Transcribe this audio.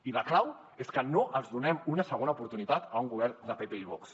i la clau és que no els donem una segona oportunitat a un govern de pp i vox